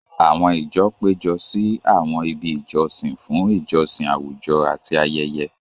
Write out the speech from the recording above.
Àwọn ìjọ péjọ sí àwọn ibi ìjọsìn fún ìjọsìn àwùjọ àti ayẹyẹ.